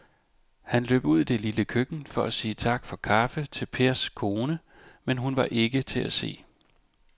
Han løb ud i det lille køkken for at sige tak for kaffe til Pers kone, men hun var ikke til at se.